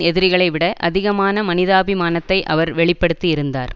எதிரிகளை விட அதிகமான மனிதாபிமானத்தை அவர் வெளி படுத்தி இருந்தார்